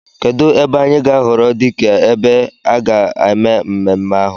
Kedụ ebe anyị ga-ahọrọ dike ebe a ga-eme mmemme ahụ?